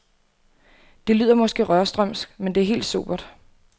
Det lyder måske rørstrømsk, men det er helt sobert.